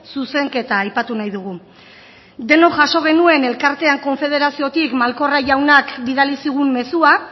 zuzenketa aipatu nahi dugu denok jaso genuen elkartean konfederaziotik malkorra jaunak bidali zigun mezua